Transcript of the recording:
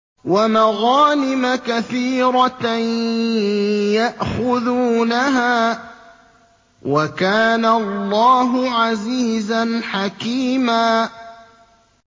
وَمَغَانِمَ كَثِيرَةً يَأْخُذُونَهَا ۗ وَكَانَ اللَّهُ عَزِيزًا حَكِيمًا